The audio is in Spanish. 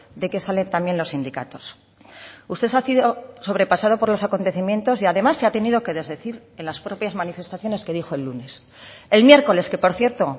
de que salen también los sindicatos usted ha sido sobrepasado por los acontecimientos y además se ha tenido que desdecir en las propias manifestaciones que dijo el lunes el miércoles que por cierto